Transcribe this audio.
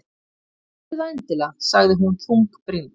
Gerðu það endilega- sagði hún þungbrýnd.